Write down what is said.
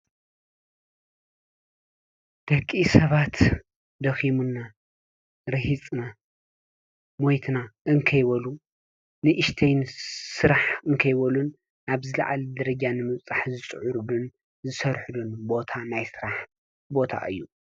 ደቂ ሰባት ደኺሙና፣ ሪሂፅና ፣ሞይትና እንከይበሉ ንእሽተይ ስራሕ እንከይበሉ ኣብ ዝላዓለ ደረጃ ንምብፃሕ ዝፅዕሩሉን ዝሰርሑሉን ቦታ ናይ ስራሕ ቦታ እዩ፡፡